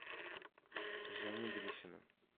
жени гришина